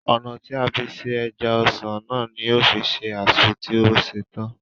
Ònà tí a fi se ẹja-ọsàn náà ní yóò fi se azu tí o ṣètán